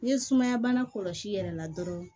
N'i ye sumaya bana kɔlɔsi yɛrɛ la dɔrɔn